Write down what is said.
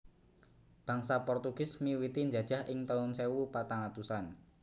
Bangsa Portugis miwiti njajah ing tahun sewu patang atusan